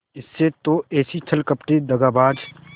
इसी से तो ऐसी छली कपटी दगाबाज